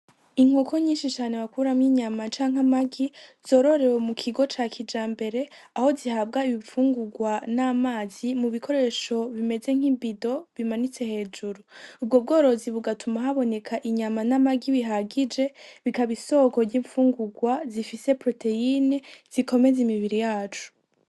Inkoko nyinshi cane bakuramwo inyama canke amagi, zororewe mu kigo ca kijambere, aho zihabwa ibifungurwa n'amazi mu bikoresho bimeze nk'ibido, bimanitse hejuru. Ubwo bworozi bugatuma haboneka inyama n'amagi bihagije, bikaba isoko ry'infungurwa zifise poroteyine zikomeza imibiri yacu.